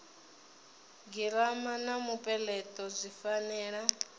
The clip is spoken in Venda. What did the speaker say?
girama na mupeleto zwi fanela